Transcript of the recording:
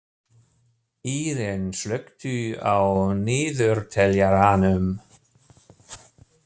Íren, slökktu á niðurteljaranum.